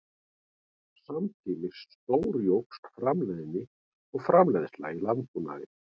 Samtímis stórjókst framleiðni og framleiðsla í landbúnaði.